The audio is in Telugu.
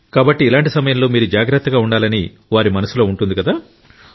కాబట్టి ఇలాంటి సమయంలో మీరు జాగ్రత్తగా ఉండాలని వారి మనసులో ఉంటుంది కదా